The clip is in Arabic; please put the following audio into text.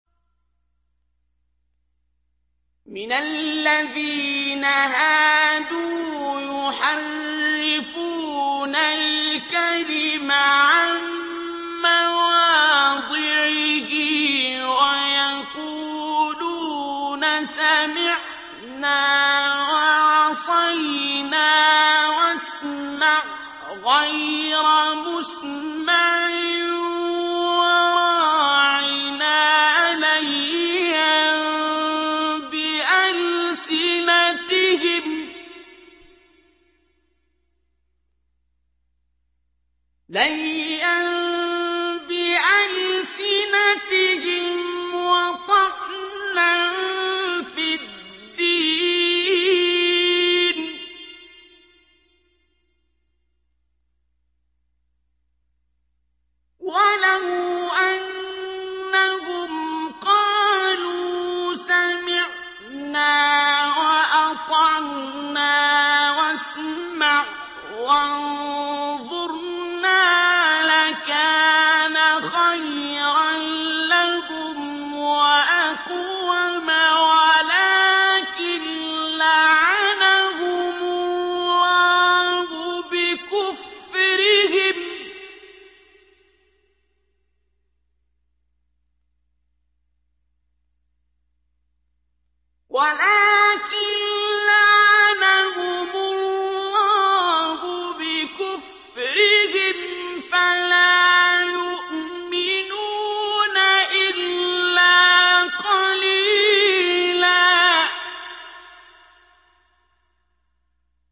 مِّنَ الَّذِينَ هَادُوا يُحَرِّفُونَ الْكَلِمَ عَن مَّوَاضِعِهِ وَيَقُولُونَ سَمِعْنَا وَعَصَيْنَا وَاسْمَعْ غَيْرَ مُسْمَعٍ وَرَاعِنَا لَيًّا بِأَلْسِنَتِهِمْ وَطَعْنًا فِي الدِّينِ ۚ وَلَوْ أَنَّهُمْ قَالُوا سَمِعْنَا وَأَطَعْنَا وَاسْمَعْ وَانظُرْنَا لَكَانَ خَيْرًا لَّهُمْ وَأَقْوَمَ وَلَٰكِن لَّعَنَهُمُ اللَّهُ بِكُفْرِهِمْ فَلَا يُؤْمِنُونَ إِلَّا قَلِيلًا